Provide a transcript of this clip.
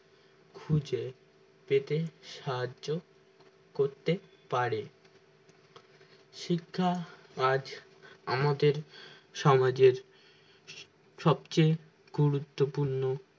খুঁজে পেতে সাহায্য করতে পারে শিক্ষা আজ আমাদের সমাজের সবচেয়ে গুরুত্বপূর্ণ